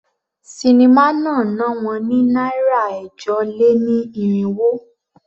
Sinimá náà ná wọn ní náírà ẹ̀jọ-lé-ní-irínwó.